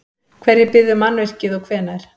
Hverjir byggðu mannvirkið og hvenær?